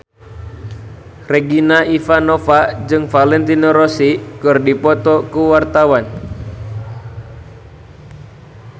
Regina Ivanova jeung Valentino Rossi keur dipoto ku wartawan